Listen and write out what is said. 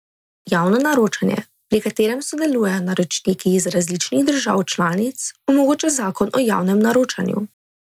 Javno naročanje, pri katerem sodelujejo naročniki iz različnih držav članic, omogoča zakon o javnem naročanju.